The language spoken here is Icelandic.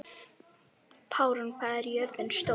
Pálrún, hvað er jörðin stór?